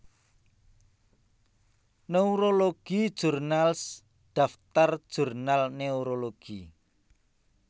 Neurology Journals daftar jurnal neurologi